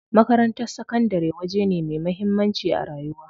Makarantar sakandari waje ne me muhammanci a rayuwa.